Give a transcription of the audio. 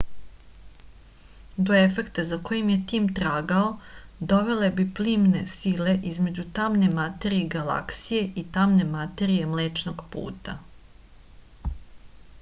do efekta za kojim je tim tragao dovele bi plimne sile između tamne materije galaksije i tamne materije mlečnog puta